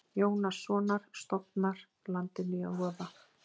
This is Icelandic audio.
Jónassonar stofnar landinu í voða.